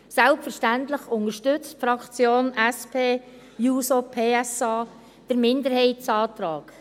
Selbstverständlich unterstützt die Fraktion SP-JUSO-PSA den Minderheitsantrag.